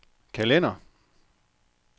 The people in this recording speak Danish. kalender